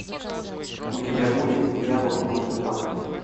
у тебя будет дьявол может плакать